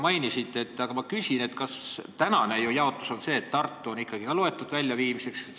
Praeguse jaotuse järgi on ju Tartu loetud ka ikkagi väljaviimiseks.